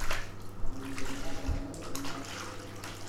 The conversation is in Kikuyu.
Ambunge maracemania mũthenya wa ũmũthi